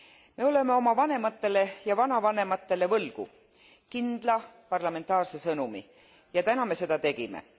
Täna oleme oma vanematele ja vanavanematele võlgu kindla parlamentaarse sõnumi ja täna me seda tegime.